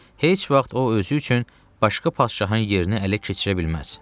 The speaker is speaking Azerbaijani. Heç vaxt o özü üçün başqa padşahın yerini ələ keçirə bilməz.